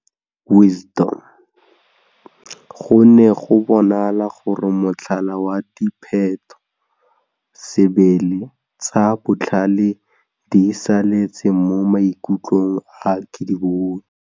Go ne go bonala gore motlhala wa diphetho-sebele tsa Botlhale di saletse mo maikutlông a Kedibone.